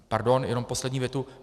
Pardon, jenom poslední větu.